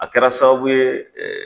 A kɛra sababu ye.